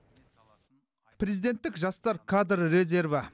президенттік жастар кадр резерві